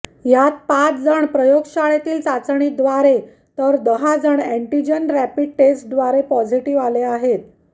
यात पाच जण प्रयोगशाळेतील चाचणीद्वारे तर दहा जण एन्टीजन रॅपीड टेस्टद्वारे पॉझेटिव्ह आले आहेत